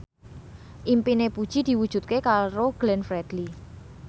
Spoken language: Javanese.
impine Puji diwujudke karo Glenn Fredly